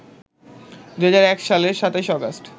২০০১ সালের ২৭ আগস্ট